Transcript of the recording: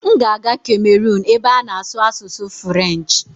M ga-aga Cameron ebe a na-asụ asụsụ Firench